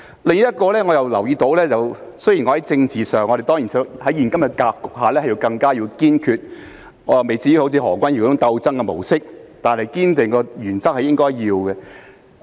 另一點我也留意到，雖然我在政治上......當然在現今的格局下應該要更堅決，我未至於像何君堯議員所說般採取"鬥爭的模式"，但堅守原則是應該的。